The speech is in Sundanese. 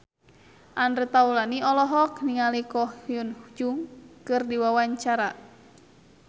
Andre Taulany olohok ningali Ko Hyun Jung keur diwawancara